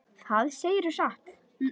Það segirðu satt.